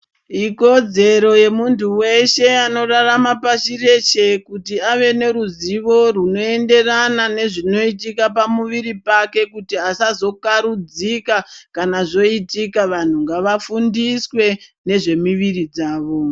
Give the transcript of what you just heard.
Ikodzero yemuntu weshe anorarama pashi reshe kuti ave neruzivo runoenderana nezvinoitika pamuviri pake, kuti asazokarudzika, kana zvoitika. Vanhu ngavafundiswe nezvemuviri dzavo.